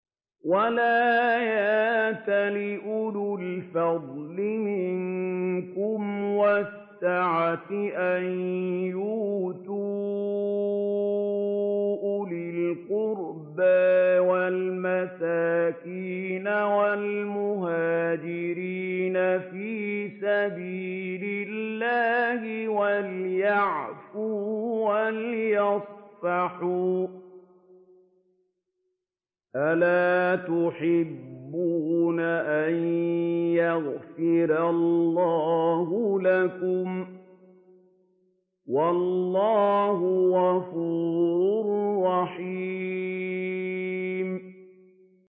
وَلَا يَأْتَلِ أُولُو الْفَضْلِ مِنكُمْ وَالسَّعَةِ أَن يُؤْتُوا أُولِي الْقُرْبَىٰ وَالْمَسَاكِينَ وَالْمُهَاجِرِينَ فِي سَبِيلِ اللَّهِ ۖ وَلْيَعْفُوا وَلْيَصْفَحُوا ۗ أَلَا تُحِبُّونَ أَن يَغْفِرَ اللَّهُ لَكُمْ ۗ وَاللَّهُ غَفُورٌ رَّحِيمٌ